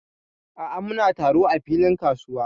A'a, muna taro a filin kasuwa.